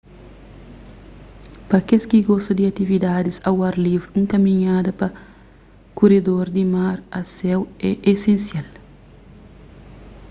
pa kes ki gosta di atividadis au ar livri un kaminhada pa kuredor di mar a séu é esensial